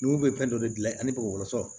Nugu bɛ fɛn dɔ de dilan ni bɔgɔsɔ